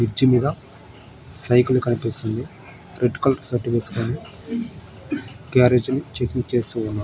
Bridge మీద cycle కనిపిస్తుంది red colour shirt వేసుకొని గ్యారేజీ నుని చెకింగ్ చేస్తూ ఉన్నారు.